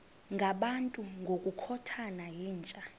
ngabantu ngokukhothana yinja